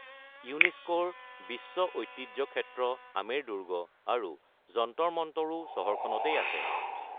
ইউনেস্কোৰ বিশ্ব ঐতিহ্য ক্ষেত্ৰ আমেৰ দুৰ্গ আৰু যন্তৰ মন্তৰো চহৰখনতেই আছে।